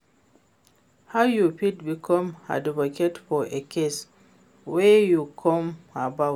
How you fit become advocate for a cause wey you care about?